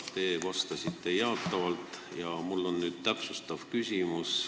Te vastasite jaatavalt, aga mul on täpsustav küsimus.